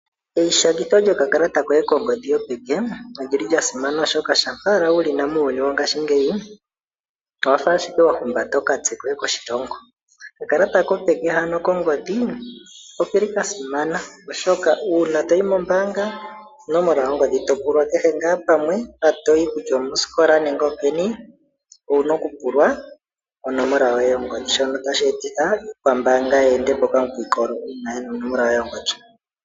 Eishangitho lyokakalata kongodhi koye kopeke olyili lyasimana oshoka shampa owala wulina muuyuni wongashingeyi, owafa ashike wahumbata okatse koye koshilongo. Okakalata kopeke hano kongodhi okeli kasimana oshoka uuna toyi mombaanga onomola yongodhi topulwa kehe ngaa pamwe mpa toyi wutya omosikola nenge openi, owuna okupulwa onomola yoye yongodhi shono tasheeta iikwambaanga yeende po okamukwikolo uuna yena onomola yoye yongodhi.